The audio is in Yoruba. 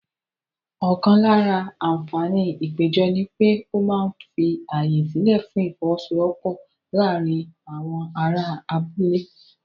Ọ̀kan lára àǹfààní ìpéjọ ni pé ó máa ń fi ààyè sílẹ̀ fún ìfọ́wọ́sọwọ́pọ̀ láàárín àwọn ará abúlé.